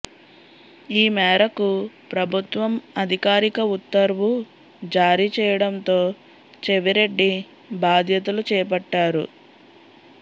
ఈ మేరకు ప్రభుత్వం అధికారిక ఉత్తర్వు జారీ చేయడంతో చెవిరెడ్డి బాధ్యతలు చేపట్టారు